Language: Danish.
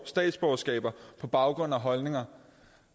statsborgerskabet på baggrund af holdninger